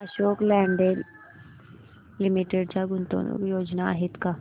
Ashok Leyland Limited च्या गुंतवणूक योजना आहेत का